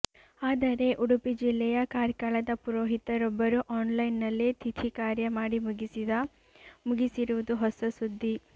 ಆದರೆ ಉಡುಪಿ ಜಿಲ್ಲೆಯ ಕಾರ್ಕಳದ ಪುರೋಹಿತರೊಬ್ಬರು ಆನ್ ಲೈನ್ ನಲ್ಲೇ ತಿಥಿ ಕಾರ್ಯ ಮಾಡಿ ಮುಗಿಸಿದ ಮುಗಿಸಿರುವುದು ಹೊಸ ಸುದ್ದಿ